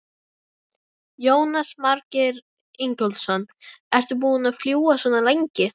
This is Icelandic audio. Jónas Margeir Ingólfsson: Ertu búin að fljúga svona lengi?